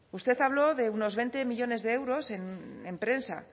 usted habló de unos veinte millónes de euros en prensa